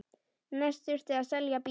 Næst þurfti að selja bílinn.